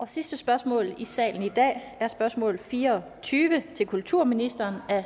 sidste spørgsmål i salen i dag er spørgsmål fire og tyve til kulturministeren